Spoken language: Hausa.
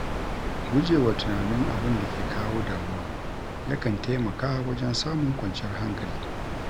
Gujewa tunanin abin da ke kawo damuwa, yakan taimaka wajen samun kwanciyar hankali.